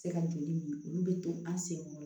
Se ka joli min olu bɛ to an sen kɔrɔ